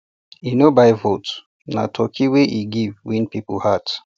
e no buy votes na turkey wey e give win people heart